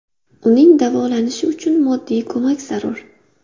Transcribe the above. Uning davolanishi uchun moddiy ko‘mak zarur.